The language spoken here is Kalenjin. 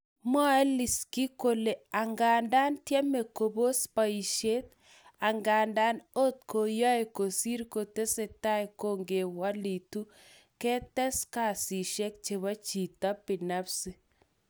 Mwae Leshinsky kole angadan tyeme kopos poishet, angadan ot koyoe kosir kotesetai kokewelitu ketes kazishek chebo chito binafsi